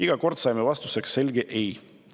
Iga kord saime vastuseks selge ei.